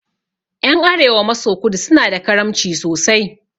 Ƴan arewa maso kudu suna da karamci sosai